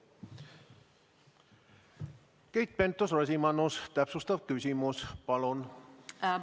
Keit Pentus-Rosimannus, täpsustav küsimus, palun!